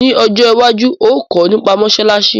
Ni ojo iwaju, óò kọ́ nipa mósálásí